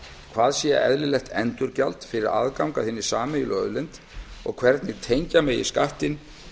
hvað sé eðlilegt endurgjald fyrir aðgang að hinni sameiginlegu auðlind og hvernig tengja megi skattinn